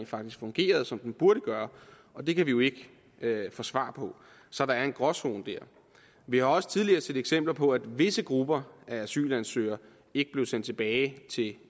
faktisk fungerede som den burde gøre og det kan vi jo ikke få svar på så der er en gråzone der vi har også tidligere set eksempler på at visse grupper af asylansøgere ikke blev sendt tilbage til